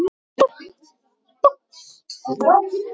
Þetta er ekki góð þróun.